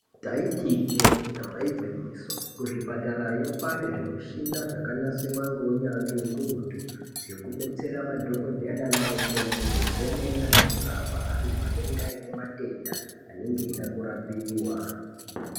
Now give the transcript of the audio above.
Taiti ijee damba igwinyiso kuzvipatarayo kwaanezvimichina zvakanasirwa ngeunyanzvi hukurutu zvekubetsera madhogodheya naana mukoti kuzemena nekurapa antu anenge ane matenda anenge eida kurapiwa.